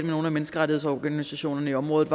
nogle af menneskerettighedsorganisationerne i området